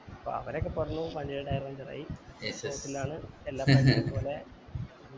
അപ്പൊ അവിടെ ഒക്കെ പറഞ്ഞു വണ്ടിൻറെ tire puncture ആയി എന്നാണ് എല്ലാ പോലെ